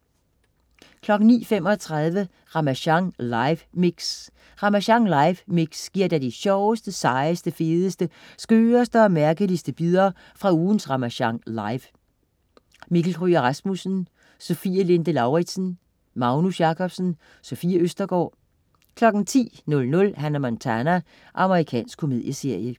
09.35 Ramasjang live mix. Ramasjang live mix giver dig de sjoveste, sejeste, fedeste, skøreste og mærkeligste bidder fra ugens Ramasjang Live. Mikkel Kryger Rasmussen, Sofie Linde Lauridsen, Magnus Jacobsen, Sofie Østergaard 10.00 Hannah Montana. Amerikansk komedieserie